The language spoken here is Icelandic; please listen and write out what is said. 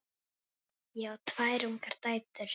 Ég á tvær ungar dætur.